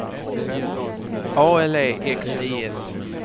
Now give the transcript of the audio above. A L E X I S